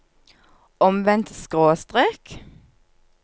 omvendt skråstrek